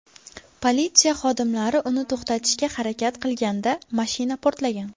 Politsiya xodimlari uni to‘xtatishga harakat qilganda mashina portlagan.